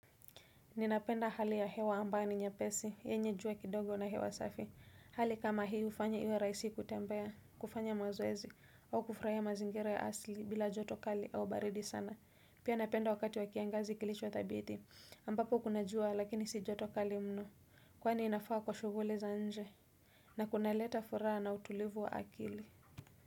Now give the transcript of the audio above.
Ninapenda hali ya hewa ambayo ni nyepesi, yenye jua kidogo na hewa safi. Hali kama hii hufanya iwe rahisi kutembea, kufanya mazoezi, au kufurahia mazingira ya asili bila joto kali au baridi sana. Pia napenda wakati wa kiangazi kilicho thabiti. Ambapo kuna jua lakini si joto kali mno. Kwani inafaa kwa shughuli za nje. Na kunaleta furaha na utulivu wa akili.